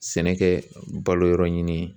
Sɛnɛ kɛ baloyɔrɔ ɲini ye